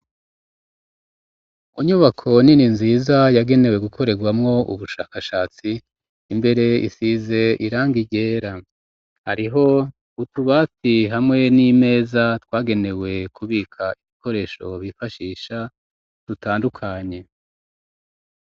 Mu nyubako nini nziza yagenewe gukorerwamwo ubushakashatsi imbere isize irangi ryera hariho utubati hamwe n'imeza twagenewe kubika ibikoresho bifashisha dutandukanye